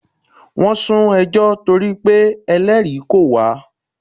Wọ́n sún ẹjọ́ torí pé Ẹlẹ́rìí kò wá.